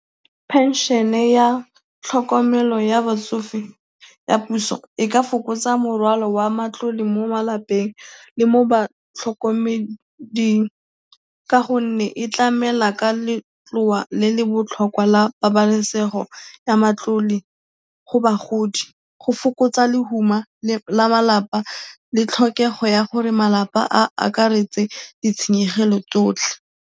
Pension-e ya tlhokomelo ya batsofe ya puso e ka fokotsa morwalo wa matlole mo malapeng le mo batlhokomeding ka gonne e tlamela ka letloa le le botlhokwa la pabalesego ya matlole go bagodi, go fokotsa lehuma la malapa le tlhokego ya gore malapa a akaretse ditshenyegelo tsotlhe.